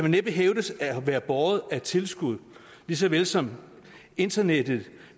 næppe hævdes at være båret af tilskud lige så vel som internettet